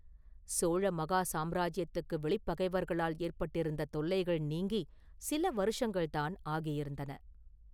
சோழ மகா சாம்ராஜ்யத்துக்கு வெளிப்பகைவர்களால் ஏற்பட்டிருந்த தொல்லைகள் நீங்கிச் சில வருஷங்கள்தான் ஆகியிருந்தன.